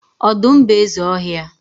ọdụm bụ eze ọhịa.